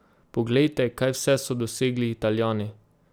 Poglejte, kaj vse so dosegli Italijani!